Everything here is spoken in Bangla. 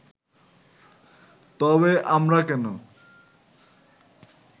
তবে আমরা কেন